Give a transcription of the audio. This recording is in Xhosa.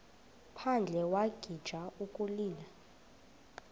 phandle wagixa ukulila